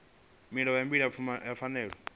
mulayo wa bili ya pfanelo